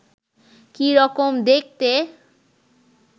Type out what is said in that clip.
কি রকম দেখতে